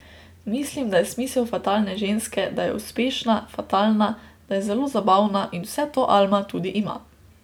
Mislim, da je smisel fatalne ženske, da je uspešna, fatalna, da je zelo zabavna in vse to Alma tudi ima.